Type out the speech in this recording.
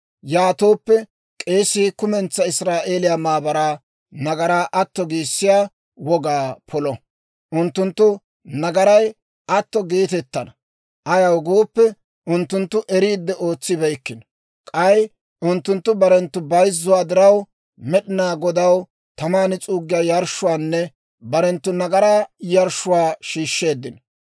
Yaatooppe k'eesii kumentsaa Israa'eeliyaa maabaraa nagaraa atto giissiyaa wogaa polo; unttunttu nagaray atto geetettana. Ayaw gooppe, unttunttu eriidde ootsibeykkino; k'ay unttunttu barenttu bayzzuwaa diraw, Med'inaa Godaw taman s'uuggiyaa yarshshuwaanne barenttu nagaraa yarshshuwaa shiishsheeddino.